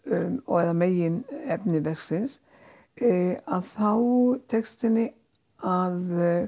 eða meginefni verksins að þá tekst henni að